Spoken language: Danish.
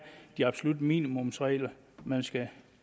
de absolutte minimumsregler man skal